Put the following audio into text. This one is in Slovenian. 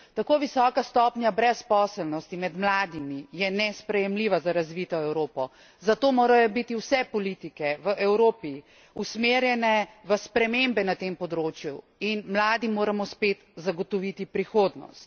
Tako visoka stopnja brezposelnosti med mladimi je nesprejemljiva za razvito Evropo, zato morajo biti vse politike v Evropi usmerjene v spremembe na tem področju in mladim moramo spet zagotoviti prihodnost.